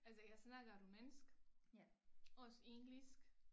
Altså jeg snakker rumænsk også engelsk